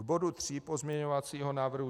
K bodu 3 pozměňovacího návrhu.